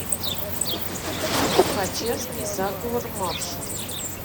тухачевский заговор маршала